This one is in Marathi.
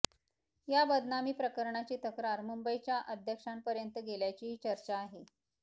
या बदनामी प्रकरणाची तक्रार मंबईच्या अध्यक्षांपर्यंत गेल्याचीही चर्चा आहे